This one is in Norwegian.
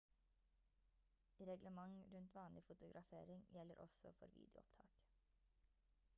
reglement rundt vanlig fotografering gjelder også for videoopptak